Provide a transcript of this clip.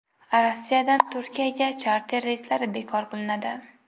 Rossiyadan Turkiyaga charter reyslari bekor qilinadi.